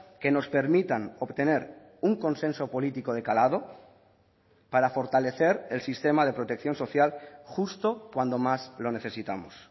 que nos permitan obtener un consenso político de calado para fortalecer el sistema de protección social justo cuando más lo necesitamos